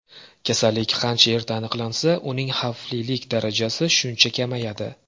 Kasallik qancha erta aniqlansa, uning xavflilik darajasi shuncha kamayadi.